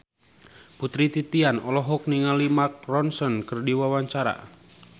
Putri Titian olohok ningali Mark Ronson keur diwawancara